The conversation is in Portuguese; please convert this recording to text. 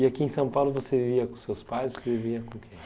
E aqui em São Paulo você vivia com seus pais? Você vivia com